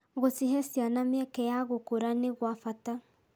Gũcihe ciana mĩeke ya gũkũra nĩ gwa bata.